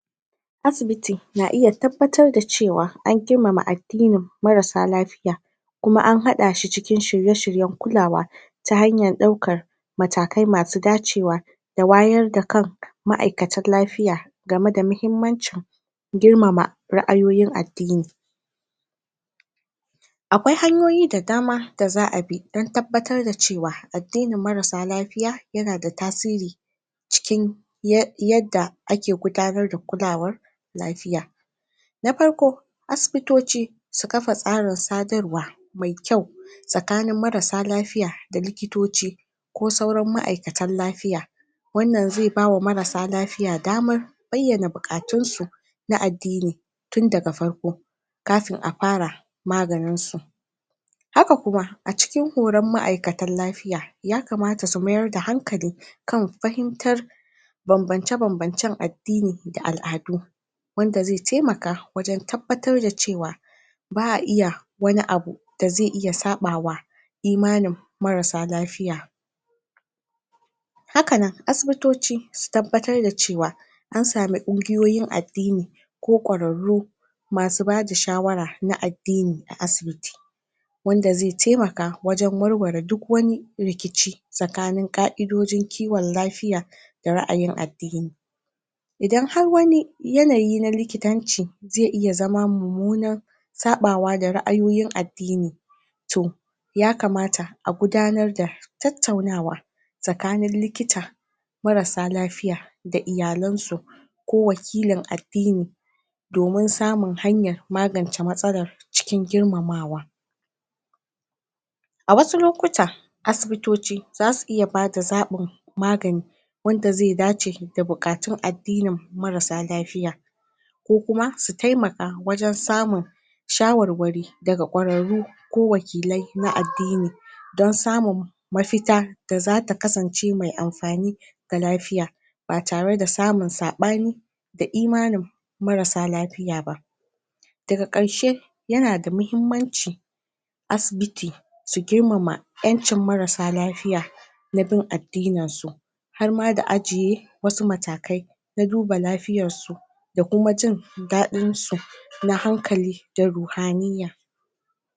asibiti na iya tabbatar da cewa an girmama addini marasa lafiya kuma an haɗashi cikin shirye shiryan kulawa ta hanyar ɗaukar matakai masu dacewa da wayar da kan ma'aikatan lafiya game da mahimmancin girmama ra'ayoyin addini aƙwai hanyoyin da dama da za a bi dan tabbatar da cewa addinin marasa lafiya yana da tasiri cikin yadda ake gudanar da kulawar lafiya na farko asibitoci su kafa tsarin sadarwa me kayu tsakanin marasa lafiya da likitoci ko sauran ma'aikatan lafiya wannan zai bawa marasa lafiya damar bayyana buƙatunsu na addini tun daga farko kafin a fara maganinsu haka kuma a cikin horan ma'aiukatan lafiya y kamata su mayar da hankali kan fahimtar banbance banbancan addini da al'adu wanda zai taimaka wajan tabbatar cewa ba a iya wani abu da zai iya saɓawa imanin marasa lafiya hakanan asibitoci su tabbatar da cewa ansamu kungiyoyin addini ko ƙwararru masu bada shawara na addini a asibiti wanda zai taimaka wajan warware duk wani rikici tsakanin ƙa'idojin kiwan lafiya da ra'ayin addini idan har wani yanayi na likitanci zai iya zama mummunan saɓawa da ra'ayoyin addini to ya kamata a gudanar da tattaunawa tsakanin likita marasa lafiya da iyalaisu ko wakilin addini domin samun hanya magance matsala cikin girmamawa a wasu lokuta asibitoci zasu iya bada zaɓin magani wanda zai dace da buƙatun addinin marasa lafiya ko kuma su taimaka wajan samun shawarware daga ƙwararru ko wakilai na addini don samun mafita da zata kasance mai amfani da lafiya ba tare da samun saɓani da imanin marasa lafiya ba daga karshe yana da mahimmanci asibiti su girmama ƴancin marasa lafiya na bin addininsu harma da ajje wasu matakai na duba lafiyarsu da kuma jindaɗinsu na hankali da ruhaniyya